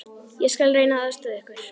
Ég skal reyna að aðstoða ykkur.